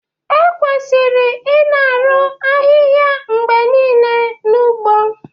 Ekwesịrị ịna-arụ ahịhịa mgbe niile n'ugbo